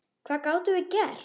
Hvað gátum við gert?